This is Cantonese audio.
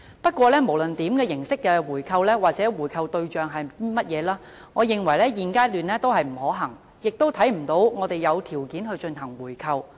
不過，無論是哪種形式的回購或回購的對象是誰，我認為現階段都不可行，亦看不到我們有條件進行回購。